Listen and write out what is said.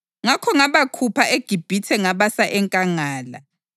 Ngakho ngabakhupha eGibhithe ngabasa enkangala.